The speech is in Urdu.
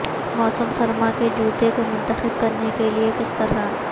موسم سرما کے جوتے کو منتخب کرنے کے لئے کس طرح